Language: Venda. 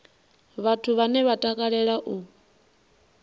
vhathu vhane vha takalea u